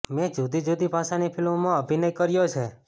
મેં જુદી જુદી ભાષાની ફિલ્મોમાં અભિનય કર્યો છે